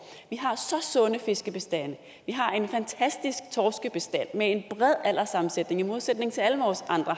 vi har så sunde fiskebestande vi har en fantastisk torskebestand med en bred alderssammensætning i modsætning til alle vores andre